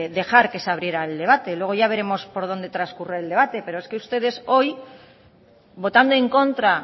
dejar que se abriera el debate luego ya veremos por dónde transcurre el debate pero es que ustedes hoy votando en contra